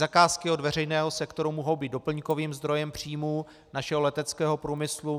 Zakázky od veřejného sektoru mohou být doplňkovým zdrojem příjmů našeho leteckého průmyslu.